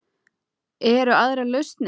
Eru aðrar lausnir?